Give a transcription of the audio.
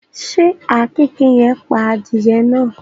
Ṣé àkekèé yen pa adìẹ náà?